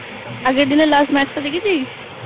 আগের দিনের Last matchটা দেখেছিস?